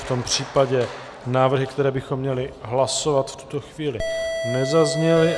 V tom případě návrhy, které bychom měli hlasovat v tuto chvíli, nezazněly.